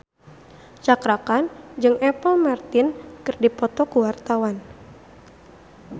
Cakra Khan jeung Apple Martin keur dipoto ku wartawan